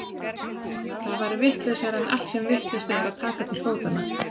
Það væri vitlausara en allt sem vitlaust er að taka til fótanna.